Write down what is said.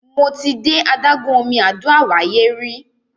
Mo ti de adágún omi Àdó Àwáyé rí.